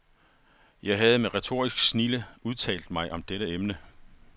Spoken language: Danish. Jeg havde med retorisk snilde udtalt mig om dette emne.